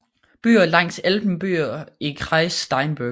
Byer langs Elben Byer i Kreis Steinburg